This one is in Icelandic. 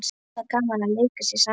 Voða gaman að leika sér saman